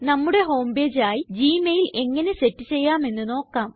നമ്മുടെ home page ആയി Gmail എങ്ങനെ സെറ്റ് ചെയ്യാം എന്ന് നോക്കാം